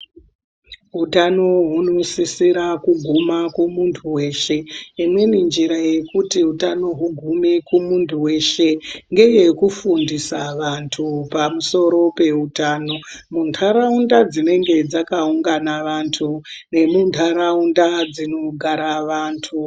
Utano hunosisira kuguma kumuntu weshe. Imweni njira yekuti utano hugume kumuntu weshe ngeyekufundisa vantu pamusoro peutano muntaraunda dzinenge dzakaungana vantu nemuntaraunda dzinogara vantu.